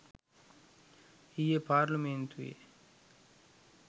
ඊයේ පාර්ලිමේන්තුවේ